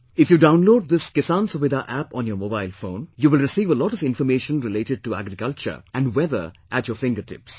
If you download this 'Kisan Suvidha App' on your mobile phone, you will receive a lot of information related to agriculture and weather at your fingertips